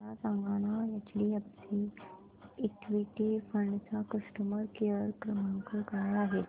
मला सांगाना HDFC equity fund चा कस्टमर केअर क्रमांक काय आहे